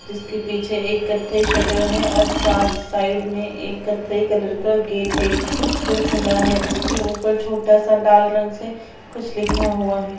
जिसके पीछे एक कथई शटर है और सा साइड में एक कथई कलर का गेट है जो खुला है उसके ऊपर छोटा सा लाल रंग से कुछ लिखा हुआ है।